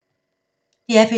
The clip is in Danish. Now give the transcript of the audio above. DR P2